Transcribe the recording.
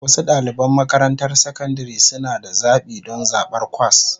Wasu ɗaliban makarantar sakandare suna da zaɓi don zaɓar kwas